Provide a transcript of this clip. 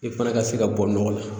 I fana ka se ka bɔ nɔgɔ la